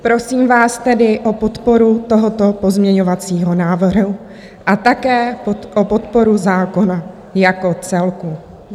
Prosím vás tedy o podporu tohoto pozměňovacího návrhu a také o podporu zákona jako celku.